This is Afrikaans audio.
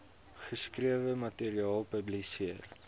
geskrewe materiaal publiseer